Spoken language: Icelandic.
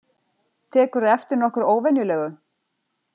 Tekurðu eftir nokkru óvenjulegu?